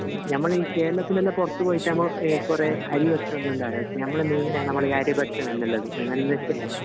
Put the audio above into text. നമ്മളെ ഈ കേരളത്തിൻ്റെ എല്ലാം പൊറത്ത് പോയിട്ട് ഞമ്മ കൊറേ അരി ഭക്ഷണങ്ങൾ ഒന്നും ഉണ്ടാവില്ല പക്ഷെ നമ്മളെ മെയിൻ ആണ് നമ്മളെ ഈ അരി ഭക്ഷണം എല്ലാം ഉള്ളത്